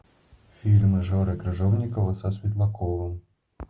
фильмы жоры крыжовникова со светлаковым